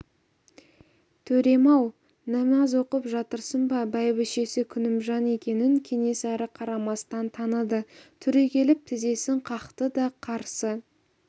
төрем-ау намаз оқып жатырсың ба бәйбішесі күнімжан екенін кенесары қарамастан таныды түрегеліп тізесін қақты да қарсы